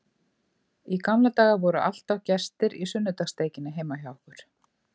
Í gamla daga voru alltaf gestir í sunnudagssteikinni heima hjá okkur.